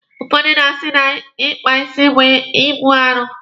Ụfọdụ na-asị na Ịkpa isi bụ ibu arụ.